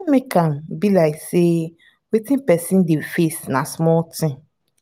no make am be like sey wetin person dey face na small thing